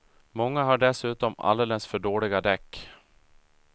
Många har dessutom alldeles för dåliga däck.